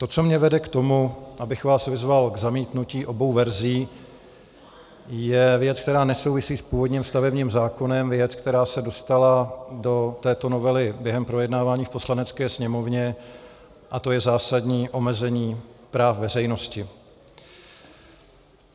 To, co mě vede k tomu, abych vás vyzval k zamítnutí obou verzí, je věc, která nesouvisí s původním stavebním zákonem, věc, která se dostala do této novely během projednávání v Poslanecké sněmovně, a to je zásadní omezení práv veřejnosti.